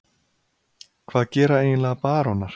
Hvað gera eiginlega barónar?